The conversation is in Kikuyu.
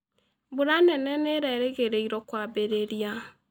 Mbura nene nĩ ĩrerĩgĩrĩrũo kwambĩrĩria.